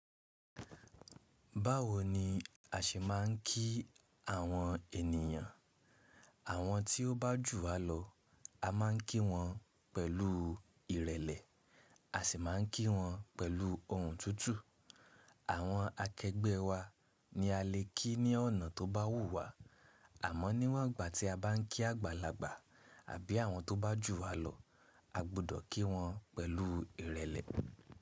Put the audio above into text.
Báwo ni a ṣe máà ń kí àwọn ènìyàn? Àwọn tí ó bá jù wá lọ a máà ń kí wọn pẹ̀lú ìrẹlẹ. A sì máà ń kí wọn pẹ̀lú ohùn tútù. Àwọn akẹgbẹ́ wa ni a lè kí ní ọ̀nà tó bá wù wá. Àmọ́ níwọ̀n ìgbà tí a bá ń kí àgbàlagbà àbí àwọn tó bá jù wá lọ, a gbọdọ̀ kí wọn pẹ̀lú ìrẹlẹ.